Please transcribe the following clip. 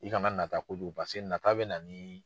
I ka na nata kojugu paseke nata bɛ na ni